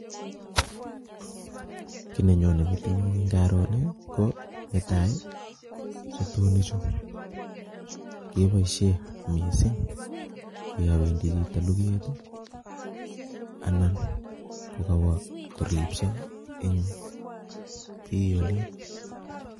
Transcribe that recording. Kiy nenyone metinyu ngaro ni ko netai, sotonichu keboisie missing yo wendi chito luget ii anan kokawo koribso eng' bii olin.